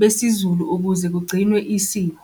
besiZulu ukuze kugcinwe isiko.